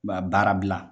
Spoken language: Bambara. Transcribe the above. U b'a baara bila